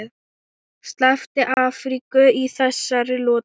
Sleppti Afríku í þessari lotu.